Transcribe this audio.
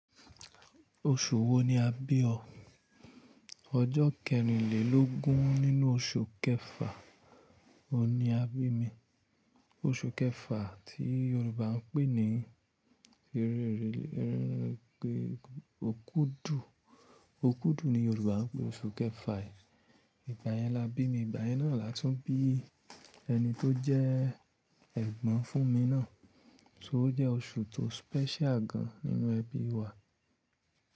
Oṣù wo ni a bí o? Ọjọ́ kẹrínlélógún nínú oṣù kẹfà oun ni a bí mi. Oṣù kẹfà tí Yorùbá ń pè ní eréerèlé, Okudu. Okudu ni Yorùbá ń pè oṣù kẹfà yìí. Ìgbà yẹn la bí mi, ìgbà yẹn náà látun bí ẹni tó jẹ́ ẹ̀gbọ́n fún mi náà, so jẹ́ oṣù tó special gan nínú ẹbí wa.